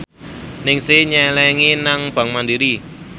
Ningsih nyelengi nang bank mandiri